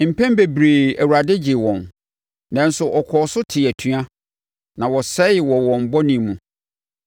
Mpɛn bebree, Awurade gyee wɔn, nanso wɔkɔɔ so tee atua na wɔsɛe wɔ wɔn bɔne mu.